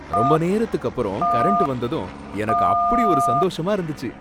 ரொம்ப நேரத்துக்கு அப்பறம் கரண்ட் வந்ததும் எனக்கு அப்பிடி ஒரு சந்தோஷமா இருந்துச்சி.